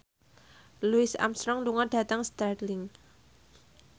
Louis Armstrong lunga dhateng Stirling